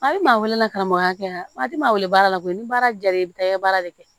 A bɛ maa wele karamɔgɔya di maa wele baara la koyi ni baara diyara i bɛ taa i ye baara de kɛ